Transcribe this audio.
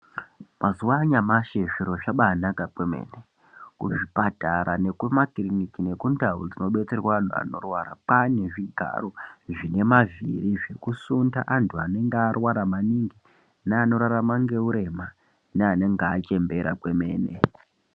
Mazuva anyamashi zviro zvabaanaka kwemene, kuzvipatara, nekumakiriniki nekundau dzinodetserwa antu anorwara kwaane zvigaro zvinemavhiri zvekusunda antu anenge arwara maningi neanorarama ngeurema neanenge achembera kwemene.